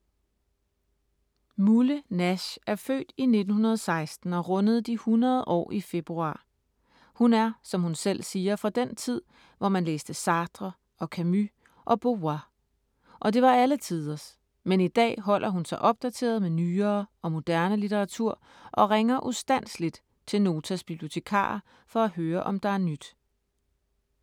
Mulle Nash er født i 1916 og rundede de 100 år i februar. Hun er, som hun selv siger, fra den tid, hvor man læste Sartre og Camus og Beauvoir. Og det var alle tiders, men i dag holder hun sig opdateret med nyere og moderne litteratur og ringer ”ustandseligt” til Notas bibliotekarer for at høre, om der er nyt.